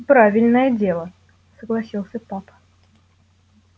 правильное дело согласился папа